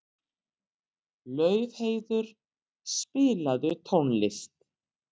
Laufheiður, spilaðu tónlist.